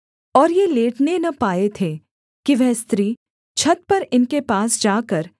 और ये लेटने न पाए थे कि वह स्त्री छत पर इनके पास जाकर